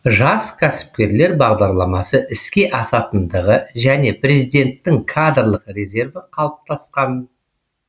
жас кәсіпкерлер бағдарламасы іске асатындығы және президенттің кадрлық резерві қалыптасқан